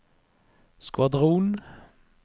skvadron